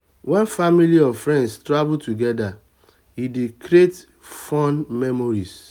when family or friends travel together e dey create fun memories